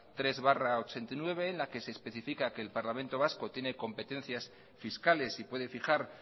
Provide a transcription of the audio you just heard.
tres barra mil novecientos ochenta y nueve en la que se especifica que el parlamento vasco tiene competencias fiscales y puede fijar